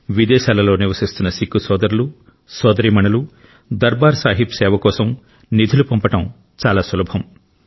విదేశాలలో నివసిస్తున్న సిక్కు సోదరులు సోదరీమణులు దర్బార్ సాహిబ్ సేవ కోసం నిధులు పంపడం చాలా సులభం